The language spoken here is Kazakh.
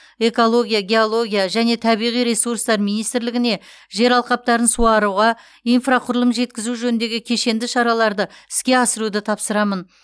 экология геология және табиғи ресурстар министрлігіне жер алқаптарын суаруға инфрақұрылым жеткізу жөніндегі кешенді шараларды іске асыруды тапсырамын